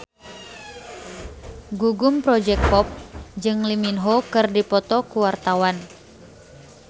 Gugum Project Pop jeung Lee Min Ho keur dipoto ku wartawan